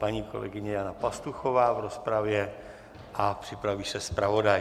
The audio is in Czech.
Paní kolegyně Jana Pastuchová v rozpravě a připraví se zpravodaj.